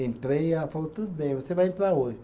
Entrei e ela falou, tudo bem, você vai entrar hoje.